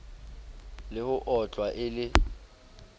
le ho otlwa e le